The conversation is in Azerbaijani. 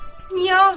Niyə ağlayım?